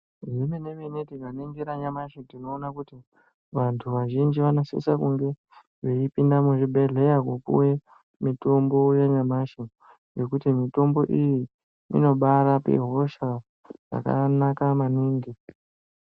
Zvemene-mene tikaningira nyamashi tinoona kuti vantu vazhinji vanosise kunge veipinde muzvibhedhleya kupuwe mitombo yanyamashi ngekuti mitombo iyi inobaarape hosha zvakanaka maningi.